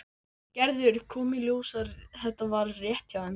Gerður kom í ljós rétt hjá þeim.